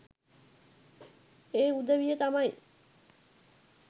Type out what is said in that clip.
ඒ උදවිය තමයි.